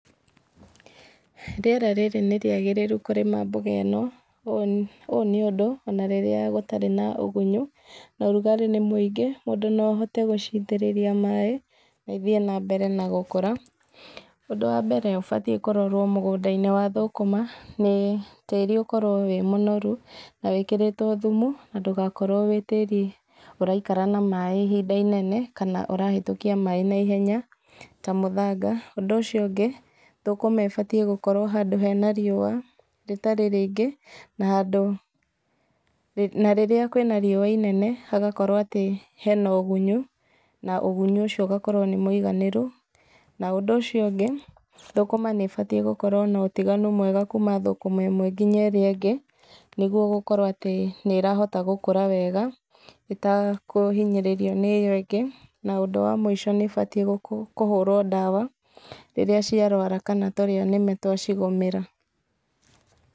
Rĩera rĩrĩ nĩ rĩagĩrĩru kũrĩma mboga ĩno. Ũũ nĩ ũndũ, ona rĩrĩa gũtarĩ na ũgunyu, na ũrũgarĩ nĩ muingĩ, mũndũ no ahote gũciitĩrĩria maaĩ na ithiĩ nambere na gũkũra. Ũndũ wa mbere ũbatie kũrorwo mũgũnda-inĩ wa thũkũma nĩ tĩri ũkorwo wĩ mũnoru, na wĩkĩritwo thumu, na ndũgakorwo wĩ tĩri ũraikara na maaĩ ihinda inene kana ũrahetũkia maaĩ naihenya ta mũthanga. Ũndũ ũcio ũngĩ, thũkũma ĩbatie gũkorwo handũ hena rĩua rĩtarĩ rĩingĩ na rĩrĩa kwĩna rĩua inene, hagakorwo atĩ hena ũgunyu na ũgunyu ũcio ũgakorwo nĩ mũiganĩru. Na ũndũ ũcio ũngĩ, thũkũma nĩ ĩbatie gũkorwo na ũtiganu mwega kuuma thũkũma ĩmwe nginya ĩrĩa ĩngĩ nĩguo gũkorwo atĩ nĩrahota gukũra wega ĩtekũhinyĩrĩrio nĩ ĩyo ĩngĩ. Na ũndũ wa mũico nĩ ĩbatie kũhũrwo ndawa rĩrĩa ciarwara kana tũrĩa nĩme twacigũmĩra.